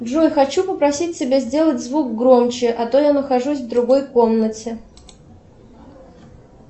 джой хочу попросить тебя сделать звук громче а то я нахожусь в другой комнате